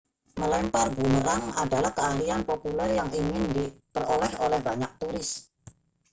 melempar bumerang adalah keahlian populer yang ingin diperoleh oleh banyak turis